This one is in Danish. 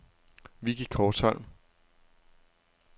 Vicky Korsholm